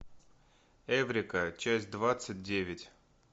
эврика часть двадцать девять